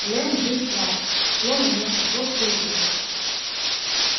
лэн дин класт зло наморщив лоб заявил